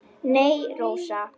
Nei, Rósa.